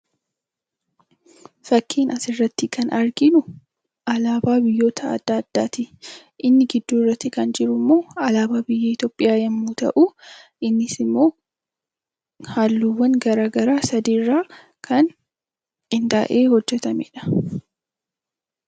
Fakkii asirratti arginu, alaabaa biyyoota addaa addaati. Inni gidduu kan jiru immoo alaabaa biyya Itoophiyaa yemmuu ta'u innis immoo halluuwwan garaagaraa sadii irraa kan qindaa'ee hojjetamedha.